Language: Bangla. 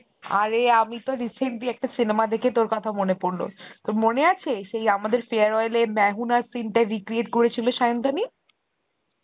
আরে আমি তো recently একটা cinema দেখে তোর কথা মনে পড়ল, তোর মনে আছে সেই আমাদের farewell এ Hindi scene টা recreate করেছিল সায়ন্তনী?